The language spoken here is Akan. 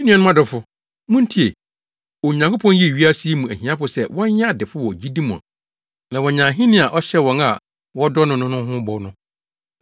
Me nuanom adɔfo, muntie! Onyankopɔn yii wiase yi mu ahiafo sɛ wɔnyɛ adefo wɔ gyidi mu na wɔanya ahenni a ɔhyɛɛ wɔn a wɔdɔ no no ho bɔ no.